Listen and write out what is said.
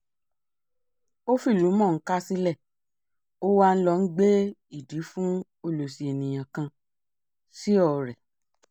ó fìlùú mọ̀-ọ́n-kà sílẹ̀ ó wàá ń lọ gbé ìdí fún ọlọ́sí èèyàn kan sío rẹ̀